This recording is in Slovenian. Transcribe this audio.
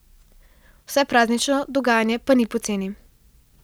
Vse praznično dogajanje pa ni poceni ...